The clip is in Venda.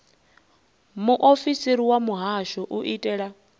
muofisiri wa muhasho u itela